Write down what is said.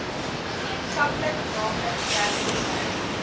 gemeenskaplik naamlik werkloosheid